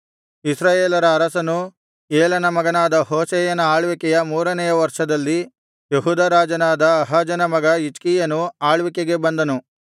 ಇಸ್ರಾಯೇಲರ ಅರಸನೂ ಏಲನ ಮಗನಾದ ಹೋಶೇಯನ ಆಳ್ವಿಕೆಯ ಮೂರನೆಯ ವರ್ಷದಲ್ಲಿ ಯೆಹೂದ ರಾಜನಾದ ಆಹಾಜನ ಮಗ ಹಿಜ್ಕೀಯನು ಆಳ್ವಿಕೆಗೆ ಬಂದನು